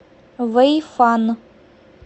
вэйфан